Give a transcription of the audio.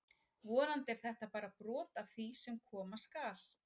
Vonandi er þetta bara brot af því sem koma skal!